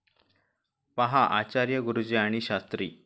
पहा आचार्य गुरुजी आणि शास्त्री